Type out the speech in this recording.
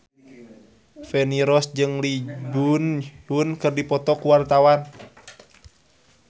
Feni Rose jeung Lee Byung Hun keur dipoto ku wartawan